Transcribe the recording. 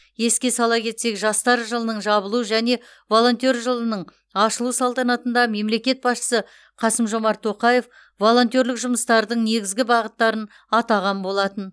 еске сала кетсек жастар жылының жабылу және волонтер жылының ашылу салтанатында мемлекет басшысы қасым жомарт тоқаев волонтерлік жұмыстардың негізгі бағыттарын атаған болатын